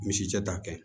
Misi cɛ ta kɛ